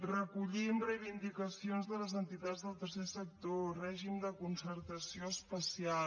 recollim reivindicacions de les entitats del tercer sector règim de concertació especial